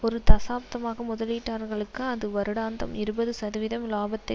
ஒரு தசாப்தமாக முதலீட்டாளர்களுக்கு அது வருடாந்தம் இருபது சதவிகிதம் இலாபத்தை